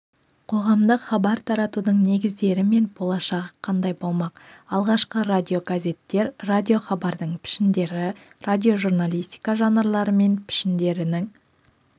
қоғамдық хабар таратудың негіздері мен болашағы қандай болмақ алғашқы радиогазеттер радиохабардың пішіндері радиожурналистика жанрлары мен пішіндерінің